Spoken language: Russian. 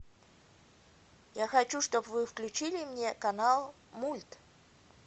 я хочу чтоб вы включили мне канал мульт